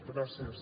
gràcies